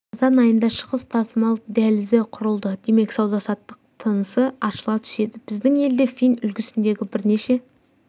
қазан айында шығыс тасымал дәлізі құрылды демек сауда-саттық тынысы ашыла түседі біздің елде фин үлгісіндегі бірнеше